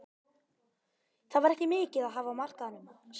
Það var ekki mikið að hafa á markaðnum sagði hann.